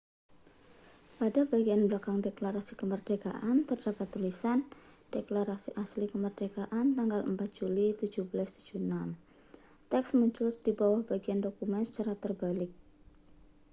pada bagian belakang deklarasi kemerdekaan terdapat tulisan deklarasi asli kemerdekaan tanggal 4 juli 1776 teks muncul di bagian bawah dokumen secara terbalik